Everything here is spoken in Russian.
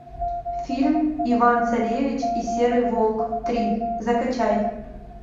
фильм иван царевич и серый волк три закачай